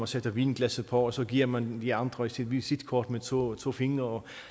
sætter vinglasset på og så giver man de andre sit visitkort med to to fingre